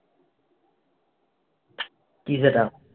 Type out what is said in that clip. কি সেটা?